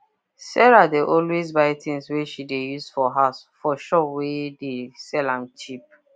sarah dey always buy things wey she dey use for house for shop wey dey sell am cheap